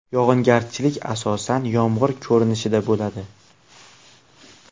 Yog‘ingarchilik asosan yomg‘ir ko‘rinishida bo‘ladi.